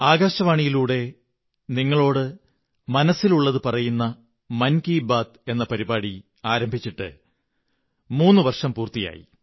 ആകാശവാണിയിലൂടെ നിങ്ങളോടു മനസ്സിലുള്ളതു പറയുന്ന മൻ കീ ബാത്ത് എന്ന പരിപാടി ആരംഭിച്ചിട്ട് മൂന്ന് വര്ഷം് പൂര്ത്തി്യായി